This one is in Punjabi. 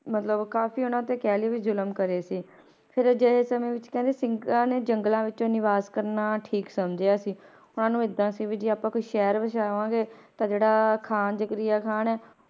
ਮਤਲਬ ਕਾਫ਼ੀ ਉਹਨਾਂ ਤੇ ਕਹਿ ਲਈਏ ਵੀ ਜ਼ੁਲਮ ਕਰੇ ਸੀ ਫਿਰ ਅਜਿਹੇ ਸਮੇਂ ਵਿੱਚ ਕਹਿੰਦੇ ਸਿੰਘਾਂ ਨੇ ਜੰਗਲਾਂ ਵਿੱਚ ਨਿਵਾਸ ਕਰਨਾ ਠੀਕ ਸਮਝਿਆ ਸੀ, ਉਹਨਾਂ ਨੂੰ ਏਦਾਂ ਸੀ ਵੀ ਜੇ ਆਪਾਂ ਕੋਈ ਸ਼ਹਿਰ ਵਸਾਵਾਂਗੇ ਤਾਂ ਜਿਹੜਾ ਖ਼ਾਨ ਜ਼ਕਰੀਆ ਖ਼ਾਨ ਹੈ,